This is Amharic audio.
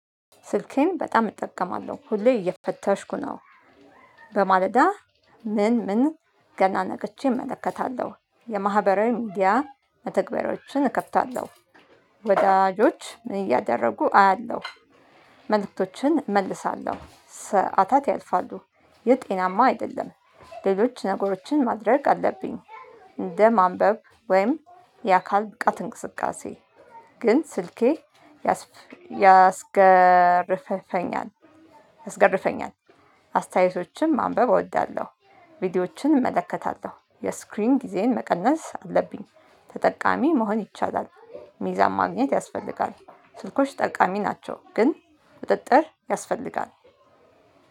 ስልኬን በጣም እጠቀማለሁ ሁሌ እየፈተሽኩ ነው። በማለዳ ምን ምን ገና ነገቼ እመለከታለሁ። የማህበራዊ ሚዲያ መተግበሮችን እከፍታለሁ። ወዳጆች ምን እያደረጉ አያለሁ። መልእክቶችን እመልሳለሁ ሰዓታት ያልፋሉ። የጤናማ አይደለም። ሌሎች ነገሮችን ማድረግ አለብኝ። እንደ ማንበብ ወይም የአካል ብቃት እንቅስቃሴ። ግን ስልኬ ያስገርፈኛል አስገርፈኛል። አስተያየቶችን ማንበብ እወዳለሁ። ቪዲዮዎችን እመለከታለሁ የስክሪን ጊዜን መቀነስ አለብኝ። ተጠቃሚ መሆን ይቻላል። ሚዛን ማግኘት ያስፈልጋል። ስልኮች ጠቃሚ ናቸው ግን ቁጥጥር ያስፈልጋል።